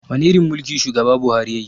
Wani irin mulki shugaba buhari yayi